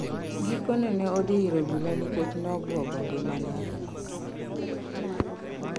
Gikone ne odhi ir obila nikech nobuogo ngimane ahinya